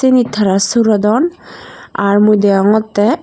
seni tara surudon aar mui degongottey.